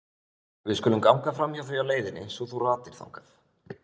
Við skulum ganga framhjá því á leiðinni svo þú ratir þangað.